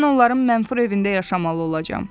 Mən onların mənfur evində yaşamalı olacam.